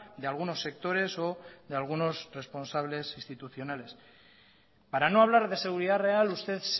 de algunos sectores o de algunos responsables institucionales para no hablar de seguridad real usted